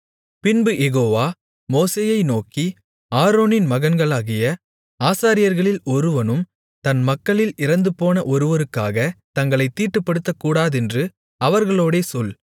பின்பு யெகோவா மோசேயை நோக்கி ஆரோனின் மகன்களாகிய ஆசாரியர்களில் ஒருவனும் தன் மக்களில் இறந்துபோன ஒருவருக்காகத் தங்களைத் தீட்டுப்படுத்தக்கூடாதென்று அவர்களோடே சொல்